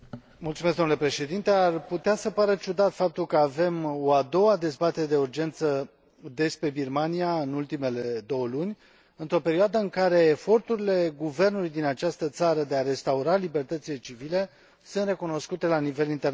Ar putea să pară ciudat faptul că avem o a doua dezbatere de urgență despre Birmania în ultimele două luni, într o perioadă în care eforturile guvernului din această țară de a restaura libertățile civile sunt recunoscute la nivel internațional.